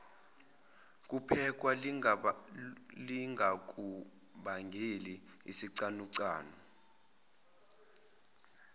kuphekwa lingakubangeli isicanucanu